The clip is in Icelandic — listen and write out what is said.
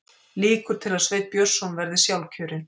Líkur til að Sveinn Björnsson verði sjálfkjörinn